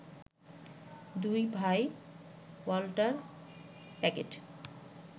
দুই ভাই ওয়াল্টার প্যাগেট